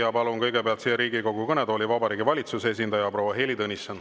Ja palun kõigepealt siia Riigikogu kõnetooli Vabariigi Valitsuse esindaja proua Heili Tõnissoni.